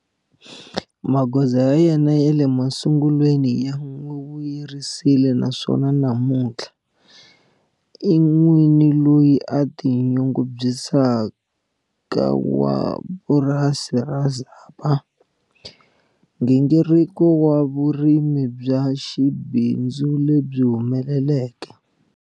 Magoza ya yena ya le masungulweni ya n'wi vuyerisile naswona namuntlha, i n'wini loyi a tinyungubyisaka wa purasi ra Zapa, nghingiriko wa vurimi bya xibindzu lebyi humeleleke.